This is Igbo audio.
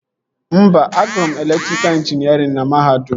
Mba, agụrụ m elektrika ịnjinierịn na mahadum